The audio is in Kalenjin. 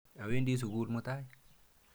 Awendi sukul mutai.